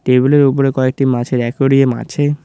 টেবিলের উপরে কয়েকটি মাছের একুরিয়াম আছে।